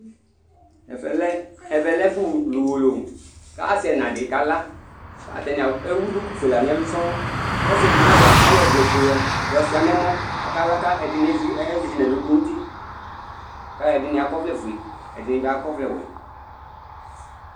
Ɛvɛ lɛ ɛfʊ lʊ ʊwolowʊ, kasɩ ɛna dɩ kala Atanɩ ewʊ dukʊ fue la nɛlʊ sɔɔ Kɔsɩ edigbo ayɔ ɔvlɛ fue yɔ sua nɛmɔ Akala akɛdinɩ ezɩ nɛlʊ nʊtɩ, akɛdinɩ akɔvlɛ fue akedinɩ akɔvlɛ ɔwɛ